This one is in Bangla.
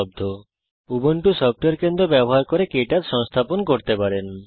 আপনি উবুন্টু সফটওয়্যার কেন্দ্র ব্যবহার করে কে টচ সংস্থাপন করতে পারেন